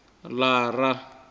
lara